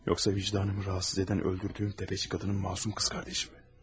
Yoxsa vicdanımı rahatsız edən öldürdüyüm dəvəcik qadının masum qız qardaşı mı?